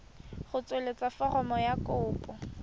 go tsweletsa foromo ya kopo